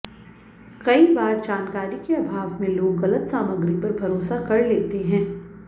कई बार जानकारी के अभाव में लोग गलत सामग्री पर भरोसा कर लेते हैं